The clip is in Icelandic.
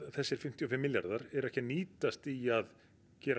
þessir fimmtíu og fimm miljarðar eru ekki að nýtast í að gera